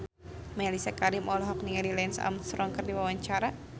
Mellisa Karim olohok ningali Lance Armstrong keur diwawancara